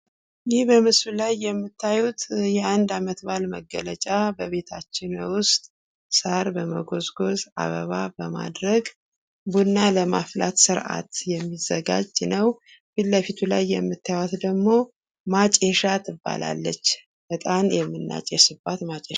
ይህ በምስሉ ላይ የምታዩት የአንድ አመትባል መገለጫ በቤታችን ውስጥ ሳር በመጎዝሆዝ ፣ አበባ በማድረግ ቡና ለማፍላት ስርዓት የሚዘጋጅ ነው። ፊት ለፊት የምታዩት ደግሞ ማጨሻ ትባላለች፤ እጣን የምናጨስባት ማጨሻ ናት።